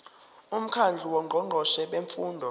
umkhandlu wongqongqoshe bemfundo